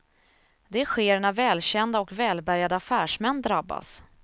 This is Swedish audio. Det sker när välkända och välbärgade affärsmän drabbas.